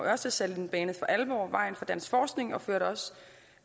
ørstedsatellitten banede for alvor vejen for dansk forskning og førte også